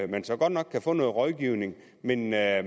man så godt nok kan få noget rådgivning men at